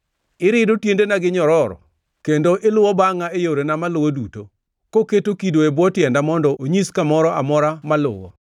Irido tiendena gi nyororo; kendo iluwo bangʼa e yorena maluwo duto, koketo kido e bwo tienda mondo onyis kamoro amora maluwo.